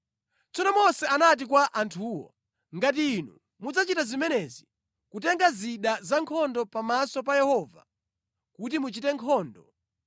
Tsono Mose anati kwa anthuwo, “Ngati inu mudzachita zimenezi, kutenga zida zankhondo pamaso pa Yehova kuti muchite nkhondo,